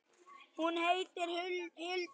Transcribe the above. Hún heitir þá Hildur!